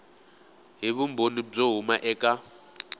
hi vumbhoni byo huma eka